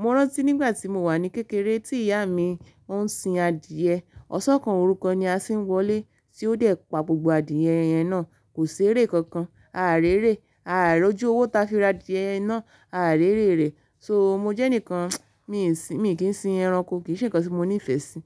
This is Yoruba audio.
Mo rántí nígbà tí mo wà ní kékeré tí ìyá mi ó ń sin adìẹ, ọ̀ṣan kan orú kan ni asiń wọlé tí ó dẹ̀ pa gbogbo adìẹ yẹn náà. Kò ṣ'eré kankan. A à réré, a à rọ́jú owó ta fi ra adìẹ náà, a à réré rẹ̀. So mo jẹ́ ẹnìkan, mi sin, mi ò kí ń sin ẹranko, kì í ṣe ǹkan tí mo ní ìfẹ́ sí.